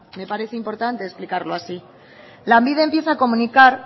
me parece importante explicarlo así lanbide empieza a comunicar